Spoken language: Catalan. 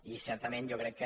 i certament jo crec que